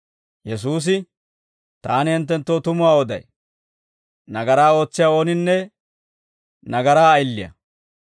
Yesuusi, «Taani hinttenttoo tumuwaa oday; nagaraa ootsiyaa ooninne nagaraa ayiliyaa.